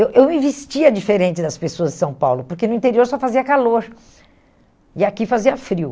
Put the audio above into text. Eu eu me vestia diferente das pessoas de São Paulo, porque no interior só fazia calor, e aqui fazia frio.